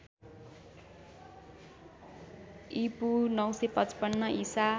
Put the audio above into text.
ईपू ९५५ ईसा